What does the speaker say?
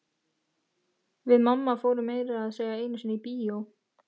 Við mamma fórum meira að segja einu sinni í bíó.